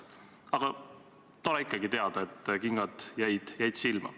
Aga tore ikkagi teada, et kingad jäid silma.